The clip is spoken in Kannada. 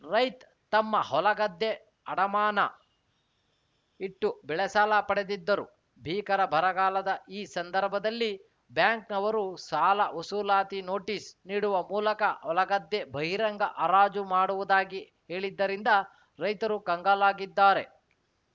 ರೈತ್ ತಮ್ಮ ಹೊಲಗದ್ದೆ ಅಡಮಾನ ಇಟ್ಟು ಬೆಳೆಸಾಲ ಪಡೆದಿದ್ದರು ಭೀಕರ ಬರಗಾಲದ ಈ ಸಂದರ್ಭದಲ್ಲಿ ಬ್ಯಾಂಕ್‌ನವರು ಸಾಲ ವಸೂಲಾತಿ ನೋಟಿಸ್‌ ನೀಡುವ ಮೂಲಕ ಹೊಲಗದ್ದೆ ಬಹಿರಂಗ ಹರಾಜು ಮಾಡುವುದಾಗಿ ಹೇಳಿದ್ದರಿಂದ ರೈತರು ಕಂಗಾಲಾಗಿದ್ದಾರೆ